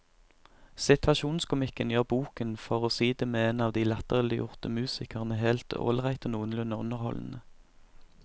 Situasjonskomikken gjør boken, for å si det med en av de latterliggjorte musikerne, helt ålreit og noenlunde underholdende.